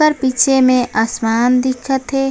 ओकर पीछे में आसमान दिखत हे।